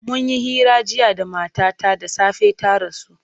Mun yi hira jiya da matata da safe ta rasu.